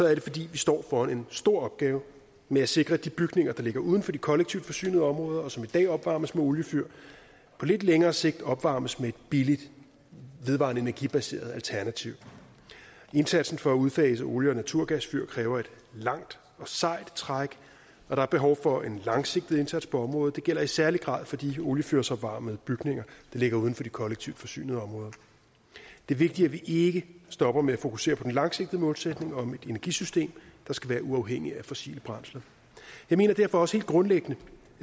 er det fordi vi står over for en stor opgave med at sikre at de bygninger der ligger uden for de kollektivt forsynede områder og som i dag opvarmes med oliefyr på lidt længere sigt opvarmes med et billigt vedvarende energibaseret alternativ indsatsen for at udfase olie og naturgasfyr kræver et langt og sejt træk og der er behov for en langsigtet indsats på området det gælder i særlig grad for de oliefyrsopvarmede bygninger der ligger uden for de kollektivt forsynede områder det er vigtigt at vi ikke stopper med at fokusere på den langsigtede målsætning om et energisystem der skal være uafhængigt af fossile brændsler jeg mener derfor også helt grundlæggende